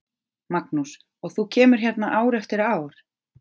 Magnús: Og þú kemur hérna ár eftir ár?